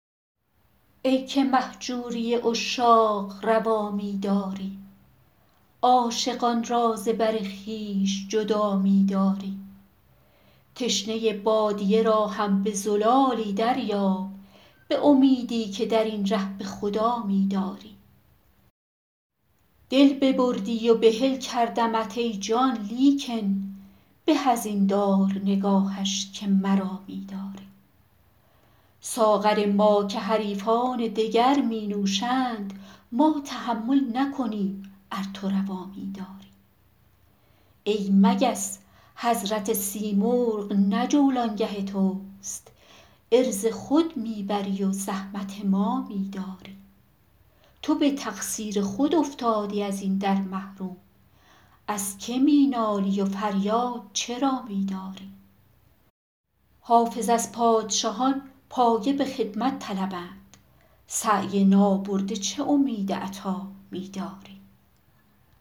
ای که مهجوری عشاق روا می داری عاشقان را ز بر خویش جدا می داری تشنه بادیه را هم به زلالی دریاب به امیدی که در این ره به خدا می داری دل ببردی و بحل کردمت ای جان لیکن به از این دار نگاهش که مرا می داری ساغر ما که حریفان دگر می نوشند ما تحمل نکنیم ار تو روا می داری ای مگس حضرت سیمرغ نه جولانگه توست عرض خود می بری و زحمت ما می داری تو به تقصیر خود افتادی از این در محروم از که می نالی و فریاد چرا می داری حافظ از پادشهان پایه به خدمت طلبند سعی نابرده چه امید عطا می داری